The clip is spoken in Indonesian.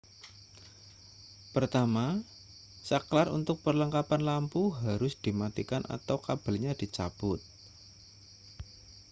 pertama sakelar untuk perlengkapan lampu harus dimatikan atau kabelnya dicabut